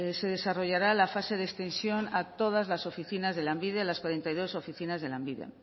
se desarrollará la fase de extensión a todas las oficinas de lanbide a las cuarenta y dos oficinas de lanbide